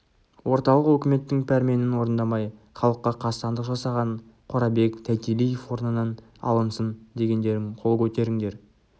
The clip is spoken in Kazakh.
орталық өкіметтің пәрменін орындамай халыққа қастандық жасаған қорабек тайтелиев орнынан алынсын дегендерің қол көтеріңдер